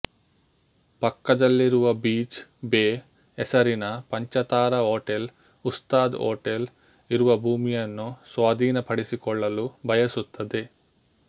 ಪಕ್ಕದಲ್ಲಿರುವ beach bay ಹೆಸರಿನ ಪಂಚತಾರಾ ಹೋಟೆಲ್ ಉಸ್ತಾದ್ ಹೋಟೆಲ್ ಇರುವ ಭೂಮಿಯನ್ನು ಸ್ವಾಧೀನಪಡಿಸಿಕೊಳ್ಳಲು ಬಯಸುತ್ತದೆ